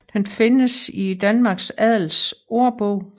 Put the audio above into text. Den findes i Danmarks Adels Aarbog